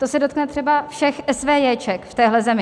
To se dotkne třeba všech esvéjéček v téhle zemi.